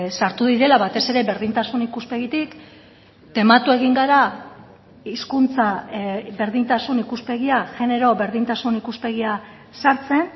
sartu direla batez ere berdintasun ikuspegitik tematu egin gara hizkuntza berdintasun ikuspegia genero berdintasun ikuspegia sartzen